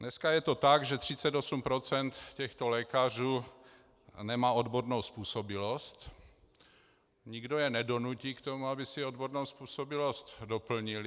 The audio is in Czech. Dneska je to tak, že 38 % těchto lékařů nemá odbornou způsobilost, nikdo je nedonutí k tomu, aby si odbornou způsobilost doplnili.